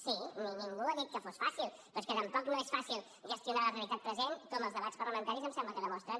sí ningú ha dit que fos fàcil però és que tampoc no és fàcil gestionar la realitat present com els debats parlamentaris em sembla que ho demostren